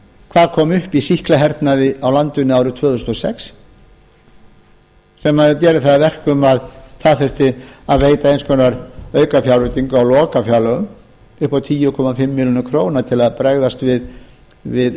hvað kom upp í sýklahernaði á landinu tvö þúsund og sex sem gerir það að verkum að það þurfti að veita einhvers konar aukafjárveitingu á lokafjárlögum upp á tíu komma fimm milljónir króna til að bregðast við